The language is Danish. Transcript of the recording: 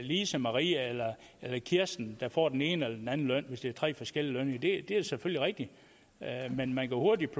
lise maria eller kirsten der får den ene eller anden løn hvis det er tre forskellige lønninger det er selvfølgelig rigtigt men man kan hurtigt